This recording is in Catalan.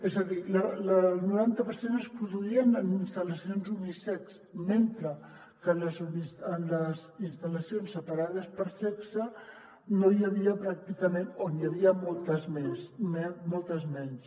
és a dir el noranta per cent es produïen en instal·lacions unisex mentre que en les instal·lacions separades per sexe no n’hi havia pràcticament o n’hi havia moltes menys